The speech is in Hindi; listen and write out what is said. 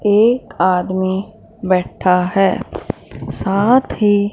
एक आदमी बैठा है साथ ही--